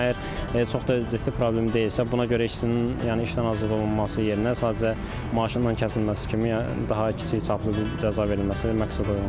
Amma əgər çox da ciddi problem deyilsə, buna görə işçinin, yəni işdən azad olunması yerinə sadəcə maaşından kəsilməsi kimi, yəni daha kiçik çaplı bir cəza verilməsi məqsədəuyğundur.